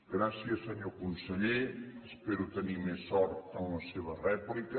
gràcies senyor conseller espero tenir més sort en la seva rèplica